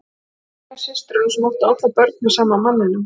Hún var ein af systrunum sem áttu allar börn með sama manninum.